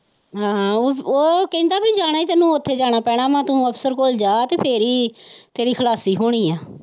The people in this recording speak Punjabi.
ਉਹ ਕਹਿੰਦਾ ਕੀ ਜਾਣਾ ਹੀ ਤੈਨੂੰ ਉੱਥੇ ਜਾਣਾ ਪੈਣਾ ਹੈ ਤੋਂ ਅਫਸਰ ਕੋਲ ਜਾ ਤੇ ਤੇਰੀ ਖ਼ਲਾਸੀ ਹੋਣੀ ਹੈ।